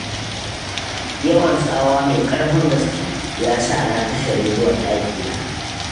Yawan tsawa mai ƙarfin gaske, ya sa na kashe rediyon ɗakina.